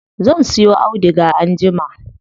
Zan siyo auduga anjima.